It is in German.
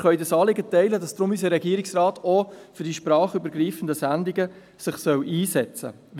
Wir können das Anliegen teilen, wonach sich unser Regierungsrat für sprachübergreifende Sendungen einsetzen soll.